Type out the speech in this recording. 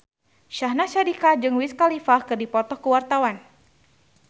Syahnaz Sadiqah jeung Wiz Khalifa keur dipoto ku wartawan